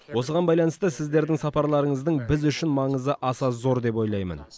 осыған байланысты сіздердің сапарларыңыздың біз үшін маңызы аса зор деп ойлаймын